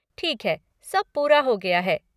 ठीक है। सब पूरा हो गया है।